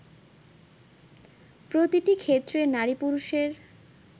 প্রতিটি ক্ষেত্রে নারী পুরুষের